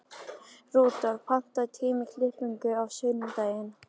Rudolf, pantaðu tíma í klippingu á sunnudaginn.